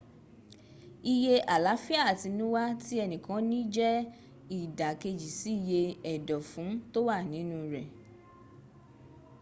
iye àláfíà àtinúwá tí ẹnìkan ní jẹ́ ìdàkejì si iye ẹ̀dọ̀fún tó wà nínu rẹ